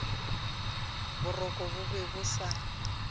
boroko bo be bo sa